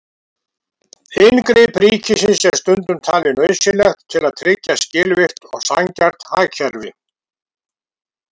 Inngrip ríkisins er stundum talið nauðsynlegt til að tryggja skilvirkt og sanngjarnt hagkerfi.